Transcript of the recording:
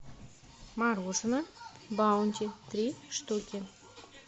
мороженое баунти три штуки